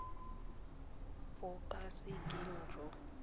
bo ka se keng jwa